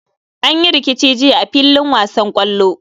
An yi rikici jiya a fillin wasan kwallo.